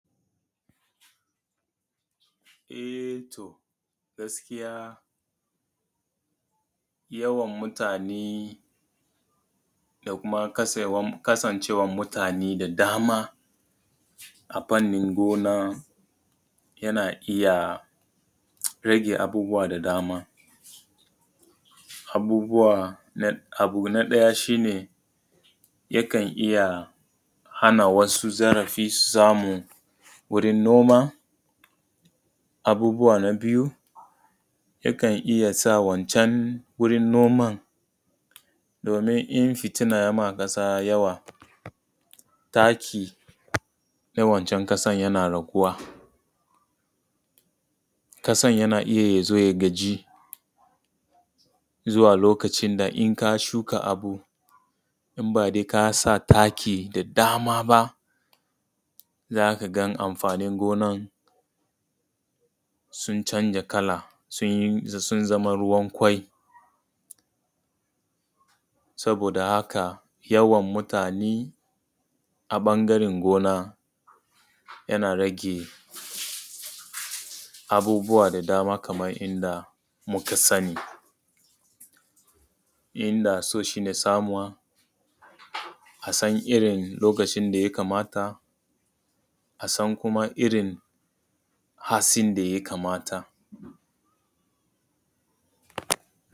E to gaskiya yawan mutane da kuma kasancewan mutane da dama a fannin gona yana iya rage abubuwa da dama. Abu na ɗaya shi ne yakan iya hana wasu zarafi su samu wurin noma. Abubuwa na biyu yakan iya sa wancan wurin noman domin in fitina ya yima ƙasa yawa taki na wancan ƙasan yana raguwa, ƙasan yana iya ya zo ya gaji zuwa lokacin da in ka shuka abu in ba dai ka sa taki da dama ba, za ka ga amfanin gonan sun canza kala, sun zama ruwan ƙwai. Saboda haka yawan mutane a ɓangaran gona yana rage abubuwa da dama kaman inda muka sani. inda so shi ne samuwa, a san irin lokacin da ya kamata a san kuma irin hatsin da ya kamata.